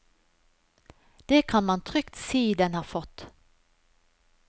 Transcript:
Det kan man trygt si den har fått.